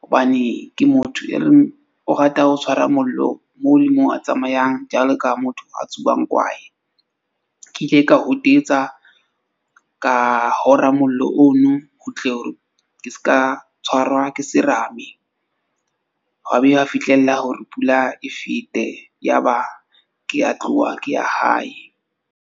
hobane ke motho e reng o rata ho tshwara mollo moo le mo a tsamayang jwalo ka motho a tsuwang kwaye. Ke ile ka hotetsa ka hora mollo ono ho tle hore ke ska tshwarwa ke serame. Hwaba fihlella hore pula e fete, yaba ke a tloha ke ya hae.